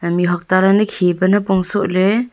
mihuak tareni khipa nipong sohley.